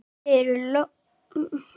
Þau eru löngu orðin sígild.